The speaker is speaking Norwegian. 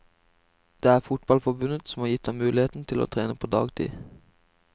Det er fotballforbundet som har gitt ham mulighet til å trene på dagtid.